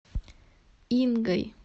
ингой